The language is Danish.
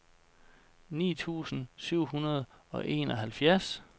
ni tusind syv hundrede og enoghalvfjerds